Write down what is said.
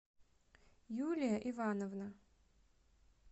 юлия ивановна